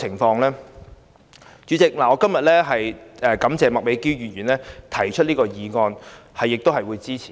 代理主席，我感謝麥美娟議員提出這項議案，我亦會支持。